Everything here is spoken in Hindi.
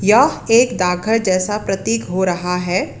यह एक डाकघर जैसा प्रतीक हो रहा है।